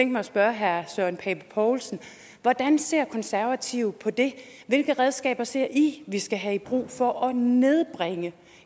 mig at spørge herre søren pape poulsen hvordan ser konservative på det hvilke redskaber ser i vi skal have i brug for at nedbringe